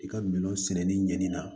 I ka minɛn sɛnɛni ɲɛnni na